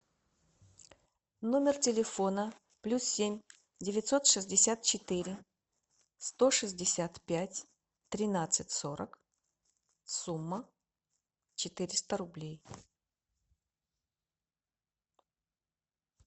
номер телефона плюс семь девятьсот шестьдесят четыре сто шестьдесят пять тринадцать сорок сумма четыреста рублей